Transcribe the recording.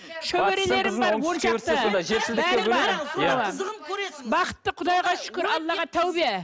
шөберелерім бар он шақты бәрі бар бақытты құдайға шүкір аллаға тәубе